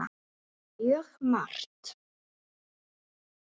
Mjög margt.